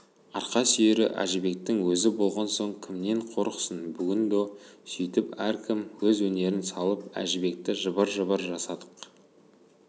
арқа сүйері әжібектің өзі болған соң кімнен қорықсын бүгін до сөйтіп әркім өз өнерін салып әжібекті жыбыр-жыбыр жасадық